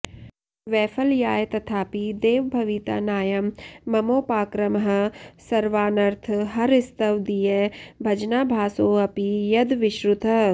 वैफल्याय तथापि देव भविता नायं ममोपाक्रमः सर्वानर्थहरस्त्वदीयभजनाभासोऽपि यद् विश्रुतः